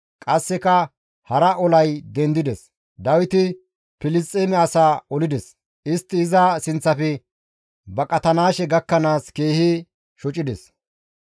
Qasseka hara olay dendides; Dawiti Filisxeeme asaa olides; istti iza sinththafe baqatanaashe gakkanaas keehi shocides.